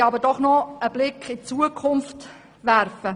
Nun möchte ich noch einen Blick in die Zukunft werfen.